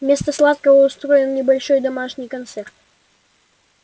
вместо сладкого устроим небольшой домашний концерт